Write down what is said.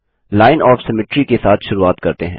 line of symmetry के साथ शुरूआत करते हैं